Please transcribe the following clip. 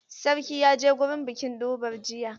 Sarki ya je gurin bikin durbar jiya.